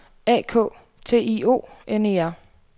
A K T I O N E R